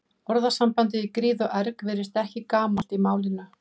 Orðasambandið í gríð og erg virðist ekki gamalt í málinu.